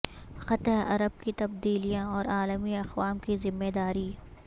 خطہ عرب کی تبدیلیاں اور عالمی اقوام کی ذمہ داری